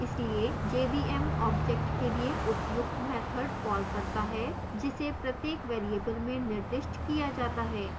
इसलिए jvm object के लिए उपयुक्त मैथड calls करता है जिसे प्रत्येक variable में निर्दिष्ट किया जाता है